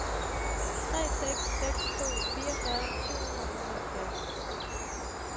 tre seks seks to fireogfyrre syv hundrede og otteoghalvfjerds